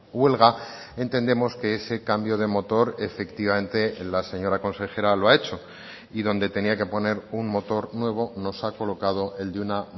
huelga entendemos que ese cambio de motor efectivamente la señora consejera lo ha hecho y donde tenía que poner un motor nuevo nos ha colocado el de una